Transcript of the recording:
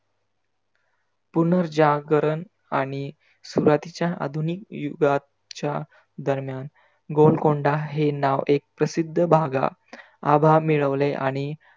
पुनर जागरण आणि सुरूवातीच्या आधुनीक युगात च्या दरम्यान गोलकोंडा हे नाव एक प्रसिद्ध भागा आभा मिळवीले आणि